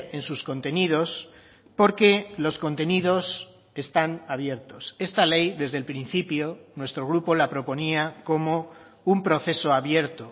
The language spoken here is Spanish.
en sus contenidos porque los contenidos están abiertos esta ley desde el principio nuestro grupo la proponía como un proceso abierto